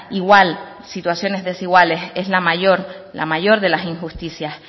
igual situaciones desiguales es la mayor de las injusticias